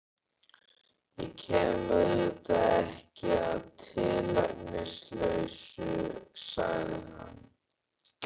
Ég kem auðvitað ekki að tilefnislausu, sagði hann.